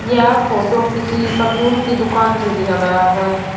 यह फोटो किसी परचून की दुकान से लिया गया है।